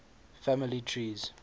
family trees